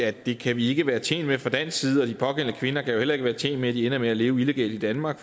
at det kan vi ikke være tjent med fra dansk side og de pågældende kvinder kan heller ikke være tjent med at de ender med at leve illegalt i danmark